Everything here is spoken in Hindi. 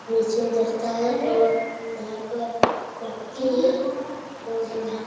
नीचे उतरता है और यहाँ पर मट्टी है और यहाँ --